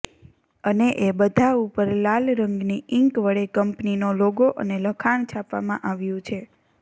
અને એ બધા ઉપર લાલ રંગની ઈન્ક વડે કંપનીનો લોગો અને લખાણ છાપવામાં આવ્યું છે